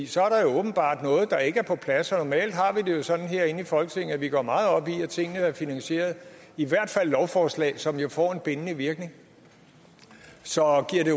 så er der åbenbart noget der ikke er på plads normalt har vi det sådan herinde i folketinget at vi går meget op i at tingene er finansieret i hvert fald lovforslag som jo får en bindende virkning så